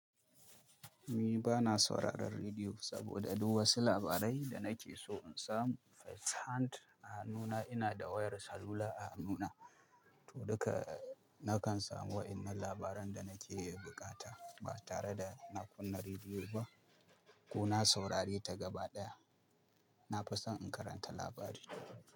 Mi bana sauraron rediyo saboda duk wasu labarai da nake so in samu, First hand nuna ina da wayar salula a nuna. To duka nakan samu wa'innan labaran da nake yi bukata ba tare da na kunna rediyo ba ko na saurari ta gaba ɗaya. Na fi son in karanta labari.